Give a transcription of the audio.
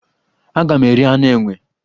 Aga m eri anụ enwe.